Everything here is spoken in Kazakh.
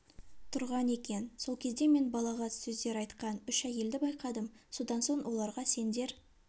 тұрған екен сол кезде мен балағат сөздер айтқан үш әйелді байқадым содан соң оларға сендер